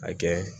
A kɛ